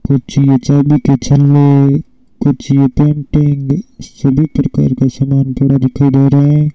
कुछ ये चाबी का छल्ले कुछ ये सभी प्रकार का सामान थोड़ा दिखाई दे रहा है